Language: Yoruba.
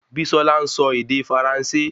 Bisola nsọ ède faransé